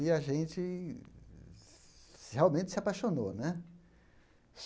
E a gente se realmente se apaixonou né.